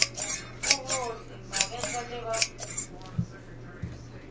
o ikgohle magetla le ba